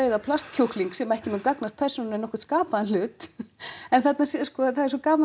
kjúkling sem ekki mun gagnast persónunni nokkurn skapaðan hlut en þarna sko það er svo gaman